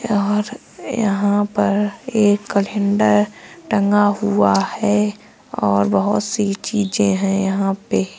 यहाँ और यहां पर एक कलेंडर टंगा हुआ है और बहोत सी चीजें हैं यहां पे।